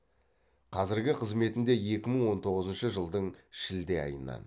қазіргі қызметінде екі мың он тоғызыншы жылдың шілде айынан